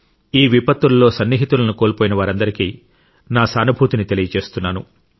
ఈ విపత్తుల్లో సన్నిహితులను కోల్పోయిన వారందరికీ నా సానుభూతిని తెలియజేస్తున్నాను